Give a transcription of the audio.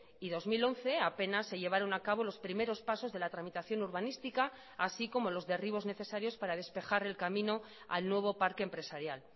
y dos mil once apenas se llevaron a cabo los primeros pasos de la tramitación urbanística así como los derribos necesarios para despejar el camino al nuevo parque empresarial